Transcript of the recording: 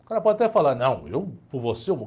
O cara pode até falar, não, eu, por você, eu morro.